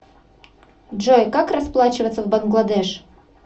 джой как расплачиваться в бангладеш